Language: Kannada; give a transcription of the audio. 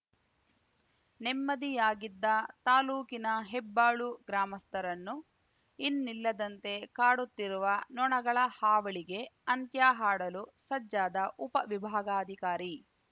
ನೆಮ್ಮದಿಯಾಗಿದ್ದ ತಾಲೂಕಿನ ಹೆಬ್ಬಾಳು ಗ್ರಾಮಸ್ಥರನ್ನು ಇನ್ನಿಲ್ಲದಂತೆ ಕಾಡುತ್ತಿರುವ ನೊಣಗಳ ಹಾವಳಿಗೆ ಅಂತ್ಯ ಹಾಡಲು ಸಜ್ಜಾದ ಉಪ ವಿಭಾಗಾಧಿಕಾರಿ